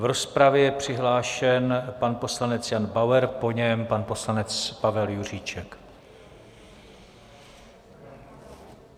V rozpravě je přihlášen pan poslanec Jan Bauer, po něm pan poslanec Pavel Juříček.